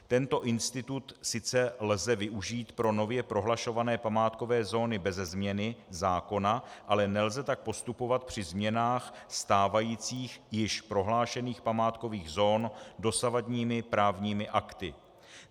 Tento institut sice lze využít pro nově prohlašované památkové zóny beze změny zákona, ale nelze tak postupovat při změnách stávajících, již prohlášených památkových zón dosavadními právními akty.